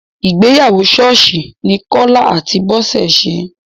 Ìgbéyàwó ṣọ́ọ́ṣì ní Kọ́lá àti Bọ́sẹ̀ ṣe.